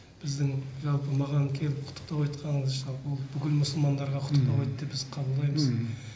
біздің жалпы маған келіп құттықтау айтқаныңыз жалпы бүкіл мұсылмандарға құттықтау айтты деп қабылдаймыз